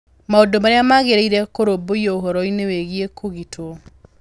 Maũndũ Marĩa Magĩrĩire Kũrũmbũiyo Ũhoro-inĩ Wĩgiĩ Kũgitwo: